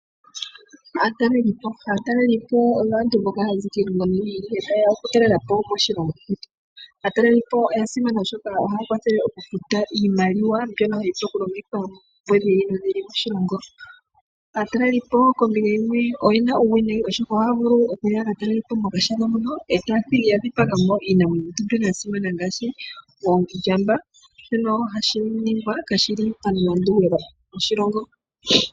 Aatalelipo oyo aantu mboka hayazi kiilongo yimwe ta yeya okutalelapo moshilongo shetu. Oya simana molwaashono ohaya kwathele okufuta iimaliwa mbyono hayi vulu okulongithwa oompumbwe dhi ili nodhi ili moshilongo. Aatalelipo kombinga yimwe oyena uuwinayi molwaashono ohaya vulu okuya yatalelepo momahala mono etaya thigi yadhipagamo iinamwenyo mbyono yasimana ngaashi oondjamba nohashi ningwa kashili pamulandu gwoshilongo.